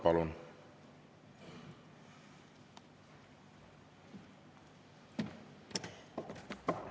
Palun!